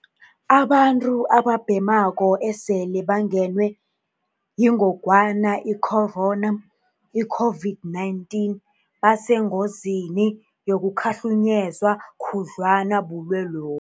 Abantu ababhemako esele bangenwe yingogwana i-corona, i-COVID-19, basengozini yokukhahlunyezwa khudlwana bulwelobu.